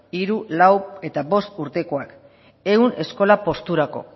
hiru lau eta bost urtekoak ehun eskola posturako